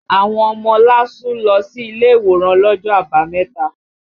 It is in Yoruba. Àwọn ọmọ LASU lọ sí ilé ìwòran lọ́jọ́ Àbámẹ̀ta